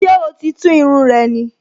Ṣé oò tíì tú irun rẹ ni?